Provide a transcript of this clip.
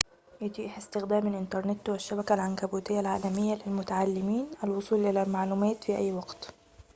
يتيح استخدام الإنترنت والشبكة العنكبوتية العالمية للمتعلمين الوصول إلى المعلومات في أي وقت